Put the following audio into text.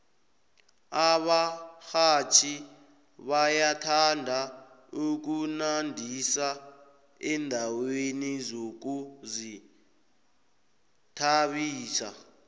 abarhatjhi bayathanda ukunandisa endaweni zokuzithabisa